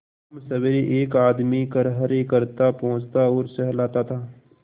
शामसबेरे एक आदमी खरहरे करता पोंछता और सहलाता था